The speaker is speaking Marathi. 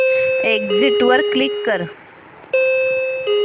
एग्झिट वर क्लिक कर